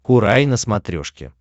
курай на смотрешке